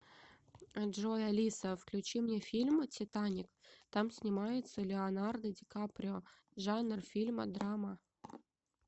джой алиса включи мне фильм титаник там снимается леонардо ди каприо жанр фильма драма